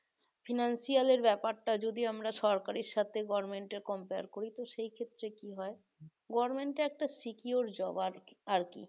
financial এর ব্যাপারটা যদি আমরা সরকারের সাথে government এর compare করি তো সেই ক্ষেত্রে কি হয় government এর একটা secure job আর কি আর কি